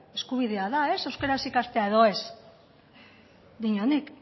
eskubidea da ez euskaraz ikastea edo ez diot nik